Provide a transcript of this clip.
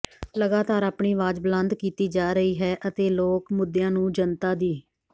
ਲਗਾਤਾਰ ਆਪਣੀ ਆਵਾਜ ਬੁਲੰਦ ਕੀਤੀ ਜਾ ਰਹੀ ਹੈ ਅਤੇ ਲੋਕ ਮੁੱਦਿਆਂ ਨੂੰ ਜਨਤਾ ਦੀ